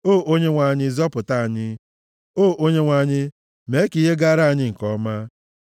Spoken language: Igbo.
O Onyenwe anyị, zọpụta anyị; o Onyenwe anyị, mee ka ihe gaara anyị nke ọma.